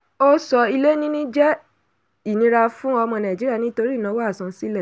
ó sọ: ilé níní jẹ́ ìnira fún ọmọ nàìjíríà nítorí ìnáwó asansílẹ̀.